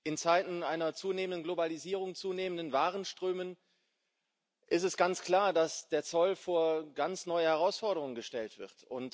In Zeiten einer zunehmenden Globalisierung, zunehmender Warenströme ist es ganz klar, dass der Zoll vor ganz neue Herausforderungen gestellt wird.